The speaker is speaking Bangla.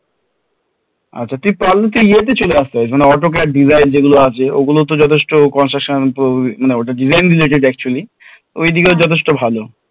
আচ্ছা তুই পারলে তুই ইয়ে তে চলে আসতে পারিস মানে Autocad design যেগুলো আছে ওগুলো তো যথেষ্ট construction মানে ওটা design related actually ঐদিকেও যথেষ্ট ভালো